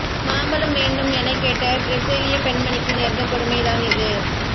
மாம்பழம் வேண்டும் என கேட்ட பிரேசிலிய பெண்மணி்க்கு நேர்ந்த கொடுமை தான் இது